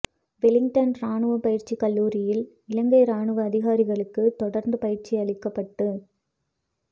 Wellington ராணுவ பயிற்சி கல்லூரியில் இலங்கை ராணுவ அதிகாரிகளுக்கு தொடர்ந்து பயிற்சி அளிக்கப்பட்டு